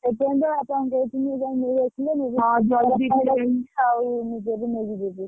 ହଁ ସେଇଥିପାଇଁ ତ ବାପାଙ୍କୁ କହିଥିଲି ଯାଇ ନେଇଆସିବେ ।